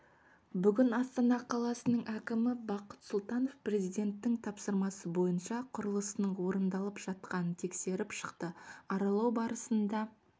бүгін астана қаласының әкімі бақыт сұлтанов президенттің тапсырмасы бойынша құрылысының орындалып жатқанын тексеріп шықты аралау барысында